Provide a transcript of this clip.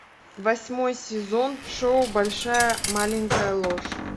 восьмой сезон шоу большая маленькая ложь